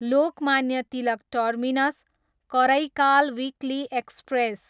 Lokmanya Tilak terminus, Karaikal weekly express